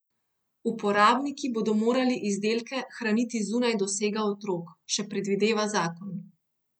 Uporabniki bodo morali izdelke hraniti zunaj dosega otrok, še predvideva zakon.